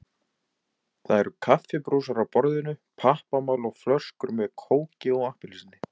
Það eru kaffibrúsar á borðinu, pappamál og flöskur með kóki og appelsíni.